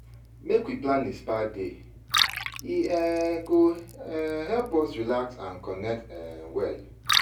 Make we plan a spa day; e um go um help us relax and connect um well.